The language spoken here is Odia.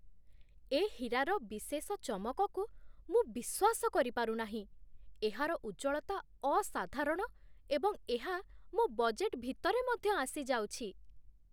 ଏ ହୀରାର ବିଶେଷ ଚମକକୁ ମୁଁ ବିଶ୍ୱାସ କରିପାରୁ ନାହିଁ! ଏହାର ଉଜ୍ଜ୍ୱଳତା ଅସାଧାରଣ, ଏବଂ ଏହା ମୋ ବଜେଟ୍ ଭିତରେ ମଧ୍ୟ ଆସିଯାଉଛି।